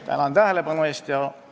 Tänan tähelepanu eest!